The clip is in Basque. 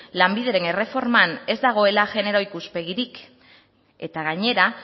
lanbideren erreforman ez dagoela genero ikuspegirik eta gainera